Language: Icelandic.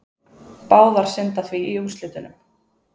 Báðar synda því í úrslitunum